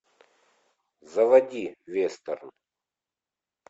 заводи вестерн